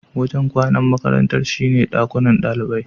Wajen kwanan makarantar shine dakunan ɗalibai.